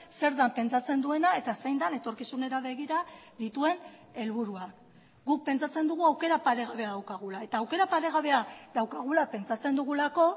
zer den pentsatzen duena eta zein den etorkizunera begira dituen helburua guk pentsatzen dugu aukera paregabea daukagula eta aukera paregabea daukagula pentsatzen dugulako